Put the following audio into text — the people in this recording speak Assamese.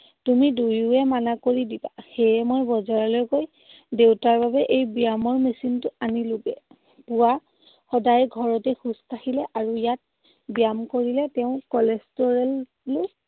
তুমি দুয়োৱে মানা কৰি দিবা। সেয়ে মই বজাৰলৈ গৈ দেউতাৰ বাবে এই ব্যায়ামৰ machine টো অনিলোগে। পুৱা সদায় ঘৰতে খোজ কাঢ়িলে, আৰু ইয়াত ব্যায়াম কৰিলে তেওঁৰ cholesterol ও